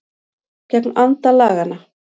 Gegn anda laganna